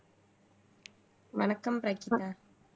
வணக்கம் பிரகிதா